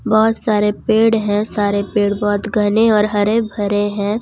बहुत सारे पेड़ हैं सारे पेड़ बहुत घने और हरे भरे हैं।